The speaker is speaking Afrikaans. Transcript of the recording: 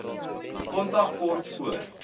kontak kort voor